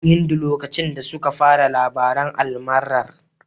Muna gidan Hindu lokacin da suka fara labaran almarar.